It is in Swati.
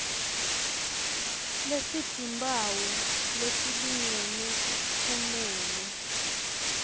lesitimphawu letilingene kumele